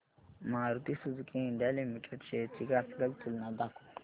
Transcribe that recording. Maruti Suzuki India Limited shares ची graphical तुलना दाखव